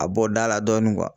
A bɔ da la dɔɔni